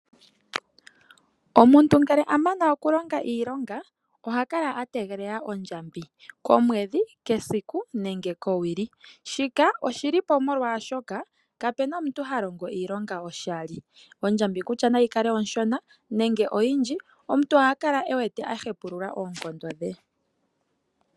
Omuntu ngele a mana okulonga iilonga oha kala a tegelela ondjambi komwedhi, kesiku nenge kowili. Shika Oshili po molwaashoka kapuna omuntu ha longo oshilonga koshali. Ondjambi kutya nayi kale onshona nenge oyindji omuntu oha kale wete a hempulula oonkondo dhe.